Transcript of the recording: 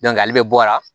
ale bɛ bɔ a la